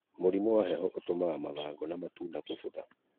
Mũrimu wa heho ũtũmaga mathangũ na matunda gũbutha